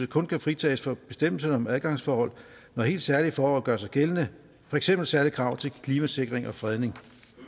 kun kan fritages for bestemmelserne om adgangsforhold når helt særlige forhold gør sig gældende for eksempel særlige krav til klimasikring og fredning